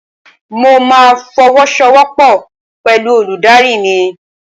Mo ma fọwọ́sowọ́pọ̀ pẹ̀lú olùdarí mi.